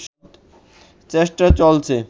চেষ্টা চলছে